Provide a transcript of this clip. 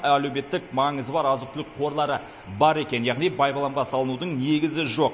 әлеуметтік маңызы бар азық түлік қорлары бар екен яғни байбаламға салынудың негізі жоқ